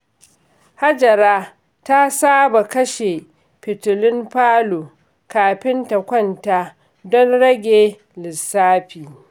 Hajara ta saba kashe fitilun falo kafin ta kwanta don rage lissafi.